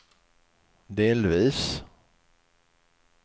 delvis